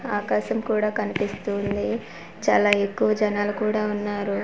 ఆకాశం కూడా కనిపిస్తూ ఉంది చాలా ఎక్కువ జనాలు కూడా ఉన్నారు.